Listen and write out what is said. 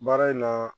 Baara in na